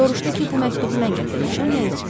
Soruşdu ki, bu məktubu mən gətirmişəm ya yox.